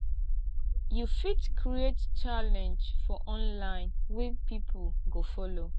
you fit create challenge for online wey pipo go follow